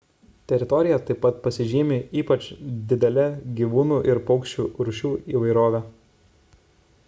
teritorija taip pat pasižymi ypač didele gyvūnų ir paukščių rūšių įvairove